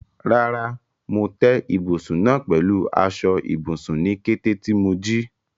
Rárá, mo tẹ́ ibùsùn náà pẹ̀lú aṣọ ibùsùn ní kété tí mo jí.